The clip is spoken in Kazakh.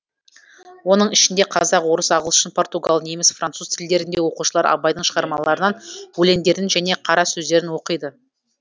оның ішінде қазақ орыс ағылшын португал неміс француз тілдерінде оқушылар абайдың шығармаларынан өлеңдерін және қара сөздерін оқиды